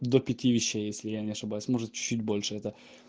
до пяти вещей если я не ошибаюсь может чуть-чуть больше это